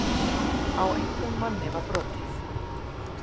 Á engum manni var brotið